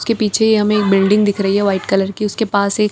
उसके पीछे ही हमें एक बिल्डिंग दिख रही है वाइट कलर की और पास एक --